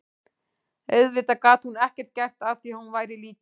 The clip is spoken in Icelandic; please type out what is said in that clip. Auðvitað gat hún ekkert gert að því að hún væri lítil.